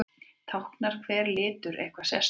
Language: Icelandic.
Táknar hver litur eitthvað sérstakt?